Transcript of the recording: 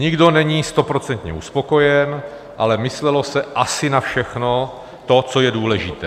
Nikdo není stoprocentně uspokojen, ale myslelo se asi na všechno to, co je důležité.